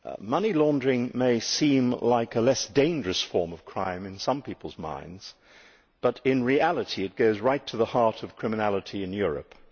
Money laundering may seem like a less dangerous form of crime in some people's minds, but in reality it goes right to the heart of criminality in Europe.